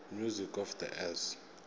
music of the s